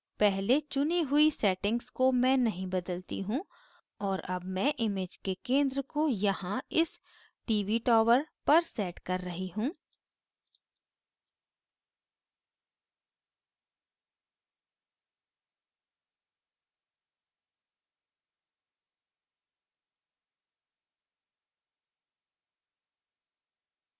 पहले चुनी हुई settings को मैं नहीं बदलती हूँ और अब मैं image के centre को यहाँ इस tv tower पर centre कर रही हूँ